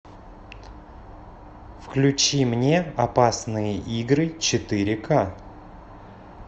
включи мне опасные игры четыре ка